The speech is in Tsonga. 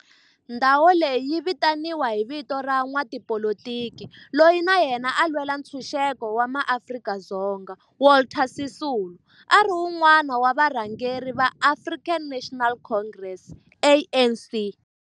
Ndhawo leyi yi vitaniwa hi vito ra n'watipolitiki loyi na yena a lwela ntshuxeko wa maAfrika-Dzonga Walter Sisulu, a ri wun'wana wa varhangeri va African National Congress, ANC.